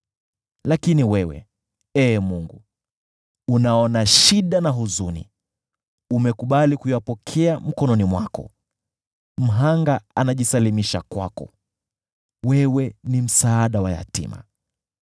Lakini wewe, Ee Mungu, unaona shida na huzuni, umekubali kuyapokea mkononi mwako. Mhanga anajisalimisha kwako, wewe ni msaada wa yatima.